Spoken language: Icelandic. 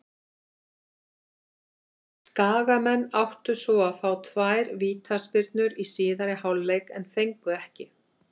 Skagamenn áttu svo að fá tvær vítaspyrnu í síðari hálfleik en fengu ekki.